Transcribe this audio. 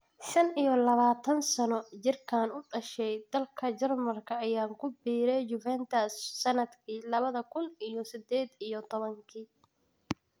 Shan iyo labatan -sano jirkaan u dhashay dalka Jarmalka ayaa ku biiray Juventus sanadkii labada kuun iyo sided iyo toban-kii.